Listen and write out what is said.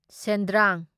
ꯁꯦꯟꯗ꯭ꯔꯥꯡ